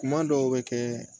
Kuma dɔw bɛ kɛ